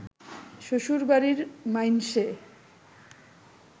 শ্বশুরবাড়ির মাইনষে